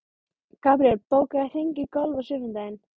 Gabriel, bókaðu hring í golf á sunnudaginn.